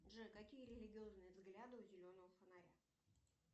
джой какие религиозные взгляды у зеленого фонаря